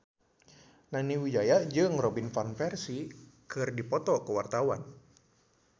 Nani Wijaya jeung Robin Van Persie keur dipoto ku wartawan